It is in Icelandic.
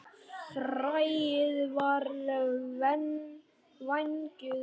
Fræið er vængjuð hnota.